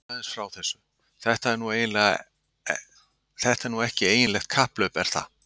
Segðu mér aðeins frá þessu, þetta er nú ekki eiginlegt kapphlaup er það?